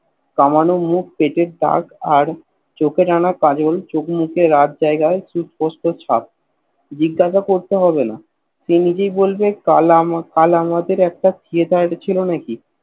কমানো মুখ পেটের দাগ আর চোখে যেন কাজল চোখ মুখে রাগ দেখায় সুস্পষ্ট ছাপ জিজ্ঞাসা করতে হবেনা সে নিজেই বলবে কাল আমা কাল আমাদের একটা Theater ছিল নাকি